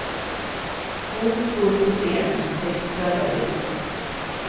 Hon stod på scenen sex kvällar i veckan.